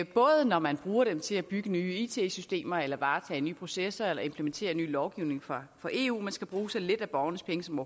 både når man bruger dem til at bygge nye it systemer eller varetage nye processer eller implementere ny lovgivning fra eu man skal bruge så lidt af borgernes penge som